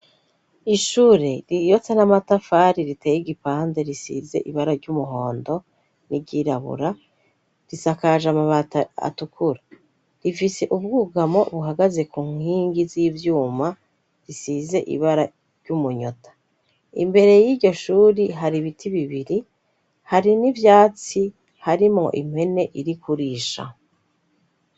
Ishure ririyotsa n'amatafari riteye igipande risize ibara ry'umuhondo n'iryirabura risakaje amabata atukura rifise ubwugamo buhagaze ku nkingi z'ivyuma risize ibara ry'umunyota imbere y'iryo shuri hari ibiti bibiri hari n'ivyatsi harimo impwene irikurisha.